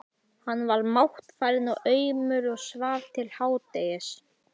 Hann var máttfarinn og aumur og svaf til hádegis.